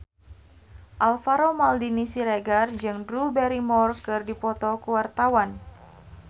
Alvaro Maldini Siregar jeung Drew Barrymore keur dipoto ku wartawan